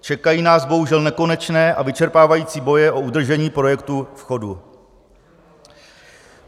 Čekají nás bohužel nekonečné a vyčerpávající boje o udržení projektu v chodu.